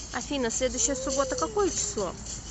афина следующая суббота какое число